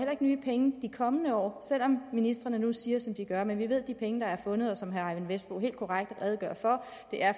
nye penge de kommende år selv om ministrene nu siger som de gør men vi ved at de penge der er fundet og som herre eyvind vesselbo helt korrekt redegør for